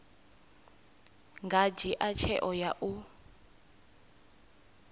nga dzhia tsheo ya u